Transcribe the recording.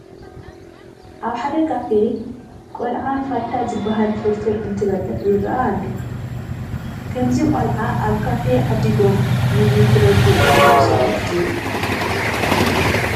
ኣብ ሓደ ካፌ ቆልዓ ፋታ ንዝበሃል ፍርፍር እንትበልዕ ይርአ ኣሎ፡፡ ከምዚ ቆልዑ ኣብ ካፌ ዓዲጐም ምግቢ ክበልዑ ግቡእ ስርዓት ድዩ?